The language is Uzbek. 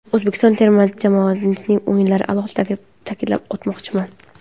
O‘zbekiston terma jamoasining o‘yinlarini alohida ta’kidlab o‘tmoqchiman.